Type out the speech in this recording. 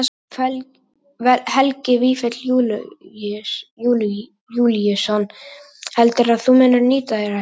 Helgi Vífill Júlíusson: Heldurðu að þú munir nýta þér þetta?